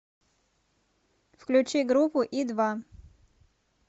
включи группу и два